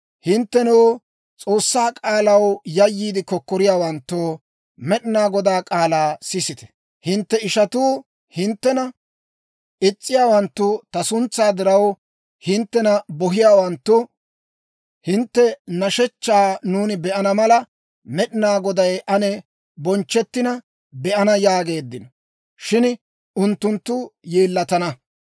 Hinttenoo, S'oossaa k'aalaw yayyiide kokkoriyaawanttoo, Med'inaa Godaa k'aalaa sisite; «Hintte ishatuu, hinttena is's'iyaawanttu, ta suntsaa diraw, hinttena bohiyaawanttu, ‹Hintte nashshechchaa nuuni be'ana mala, Med'inaa Goday ane bonchchettina be'ana› yaageeddino; shin unttunttu yeellatana.